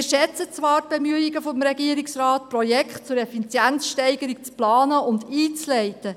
Wir schätzen zwar die Bemühungen des Regierungsrates, Projekte zur Effizienzsteigerung zu planen und einzuleiten.